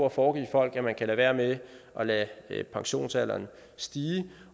at foregive folk at man kan lade være med at lade pensionsalderen stige